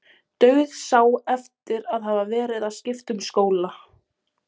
Dauðsá eftir að hafa verið að skipta um skóla.